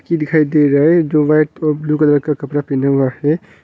की दिखाई दे रहा है जो व्हाइट और ब्लू कलर का कपड़ा पहना हुआ है।